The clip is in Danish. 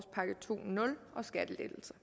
skattelettelser